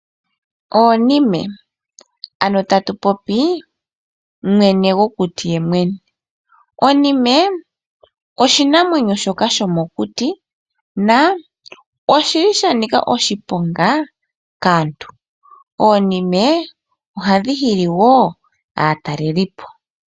Oonime, ano tatu popi mwene gokuti yemwene. Onime oshinamwenyo shoka shomokuti na oshi li sha nika oshiponga kaantu. Oonime ohadhi hili wo aatalelipo.